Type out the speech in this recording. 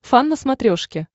фан на смотрешке